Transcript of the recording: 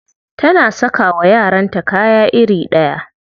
Tana saka wa yaranta kaya iri ɗaya.